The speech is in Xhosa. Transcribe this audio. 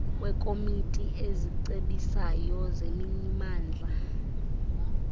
kwekomiti ezicebisayo zemimandla